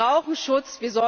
Sie brauchen Schutz.